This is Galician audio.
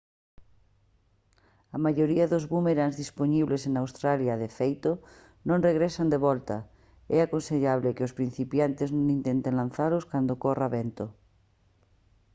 a maioría dos búmerangs dispoñibles en australia de feito non regresan de volta é aconsellable que os principiantes non intenten lanzalos cando corra vento